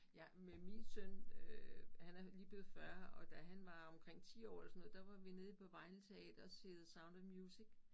Ja men min søn øh han er lige blevet 40 og da han var omkring 10 år eller sådan noget der var vi nede på Vejle Teater og se The Sound of Music